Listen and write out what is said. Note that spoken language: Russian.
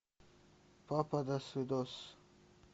папа досвидос